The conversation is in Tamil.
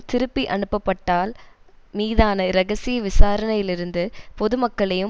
திருப்பி அனுப்பப்பட்டால் மீதான இரகசிய விசாரணையிலிருந்து பொதுமக்களையும்